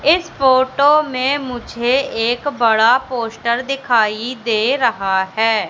इस फोटो में मुझे एक बड़ा पोस्टर दिखाई दे रहा है।